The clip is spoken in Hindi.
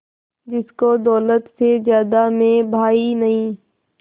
जिसको दौलत से ज्यादा मैं भाई नहीं